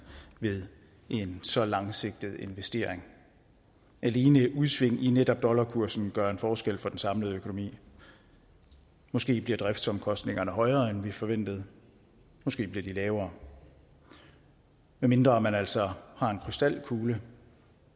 ved en så langsigtet investering alene udsving i netop dollarkursen gør en forskel for den samlede økonomi måske bliver driftsomkostningerne højere end vi forventede måske bliver de lavere medmindre man altså har en krystalkugle